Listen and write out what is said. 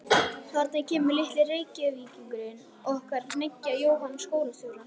Þarna kemur litli Reykvíkingurinn okkar hneggjaði Jóhann skólastjóri.